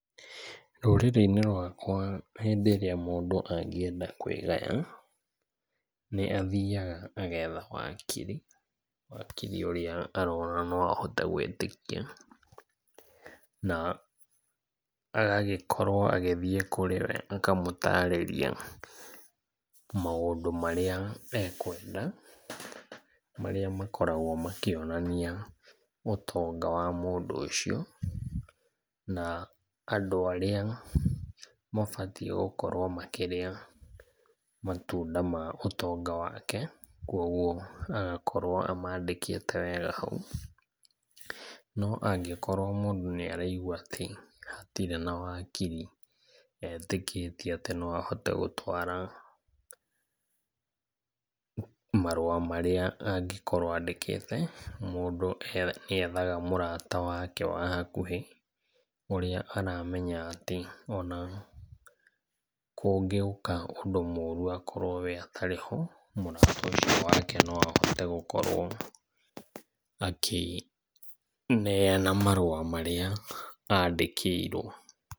Rũrĩrĩ-inĩ rwakwa hĩndĩ ĩrĩa mũndũ angĩenda kwĩgaya, nĩ athiaga agetha wakiri, wakiri ũrĩa arona no ahote gwĩtĩkia. Na agagĩkorwo agĩthiĩ kũrĩ we akamũtarĩria maũndũ marĩa ekwenda, marĩa makoragwo makĩonania ũtonga wa mũndũ ũcio na andũ arĩa mabatiĩ gũkorwo makĩrĩa matunda ma ũtonga wake, kwogwo agakorwo akĩmandĩkĩte wega hau. No angĩkorwo mũndũ nĩ araigua atĩ hatirĩ na wakiri etĩkĩtie atĩ noahote gũtwara marũa marĩa angĩkorwo andĩkĩte, mũndũ nĩa, nĩethaga mũrata wake wa hakuhĩ, ũrĩa aramenya atĩ ona, kũngĩũka ũndũ mũru akorwo we atarĩ ho, mũrata ũcio wake no ahote gũkorwo akĩneana marũa marĩa andĩkĩirwo.